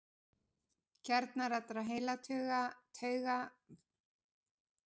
Kjarnar allra heilatauga, nema þeirra sem tengjast lykt og sjón, eru staðsettir í heilastofni.